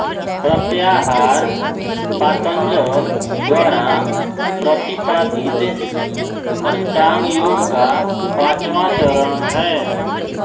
प्रत्याहार पातंजल द्वारा प्रतिपादित अष्टांग योग का पाँचवाँ चरण है